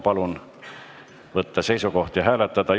Palun võtta seisukoht ja hääletada!